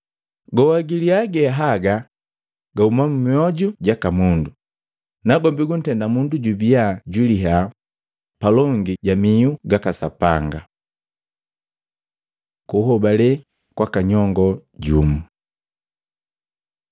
Goa gilia ge haga gahuma mmoju jaka mundu, nagombi guntenda mundu jubia jwiliya palongi ja mihu gaka Sapanga.” Kuhobale kwaka nyongoo jumu Matei 15:21-28